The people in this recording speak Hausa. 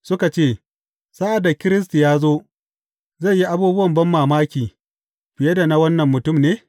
Suka ce, Sa’ad da Kiristi ya zo, zai yi abubuwan banmamaki fiye da na wannan mutum ne?